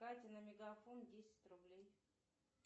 кате на мегафон десять рублей